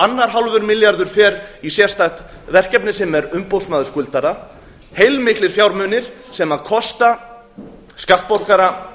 annar hálfur milljarður fer í sérstakt verkefni sem er umboðsmaður skuldara heilmiklir fjármunir sem kosta skattborgara